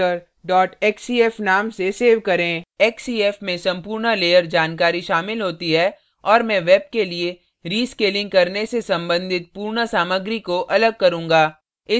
इसे jaegermeister xcf नाम से xcf करें xcf में संपूर्ण layer जानकारी शामिल होती है और मैं web के लिए रीrescaling करने से संबंधित पूर्ण सामग्री को अलग करूँगा